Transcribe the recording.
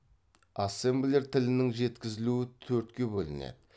ассемблер тілінің жеткізілуі төртке бөлінеді